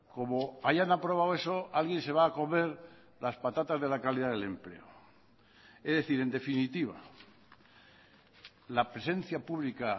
como hayan aprobado eso alguien se va a comer las patatas de la calidad del empleo es decir en definitiva la presencia pública